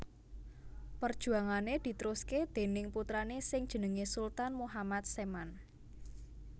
Perjuangane ditrusake déning putrane sing jenenge Sultan Muhammad Seman